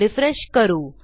refresh करू